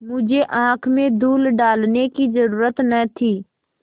मुझे आँख में धूल डालने की जरुरत न थी